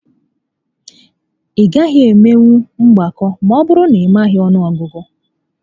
Ị gaghị emenwu mgbakọ ma ọbụrụ na ị maghị ọnụ ọgụgụ